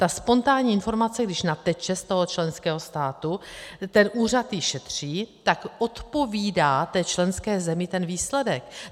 Ta spontánní informace když nateče z toho členského státu, ten úřad ji šetří, tak odpovídá té členské zemi ten výsledek.